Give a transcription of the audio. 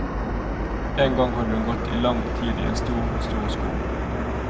En gang hadde hun gått i lang tid i en stor, stor skog.